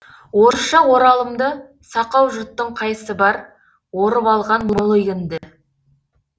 орысша оралымды сақау жұрттыңқайсы бар орып алған мол егінді